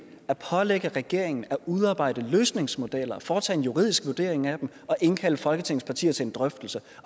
at pålægge regeringen at udarbejde løsningsmodeller foretage en juridisk vurdering af dem og indkalde folketingets partier til en drøftelse